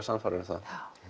sannfærður um það